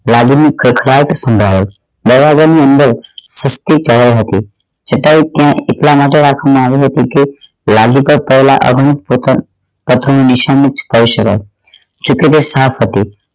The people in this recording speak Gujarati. લાદી ની ખકડાટ સાંભળી દરવાજા ની અંદર હતી છતાં એ ત્યાં એટલા માટે રાખવામાં આવી હતી કે લાદી નિશાની કહી શકાઇ સાથ હતી